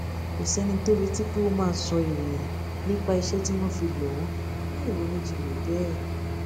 kò séni tó retí pé ó máa sọ ìròyìn nípa iṣé tí wón fi lò ó láìronú jinlè béè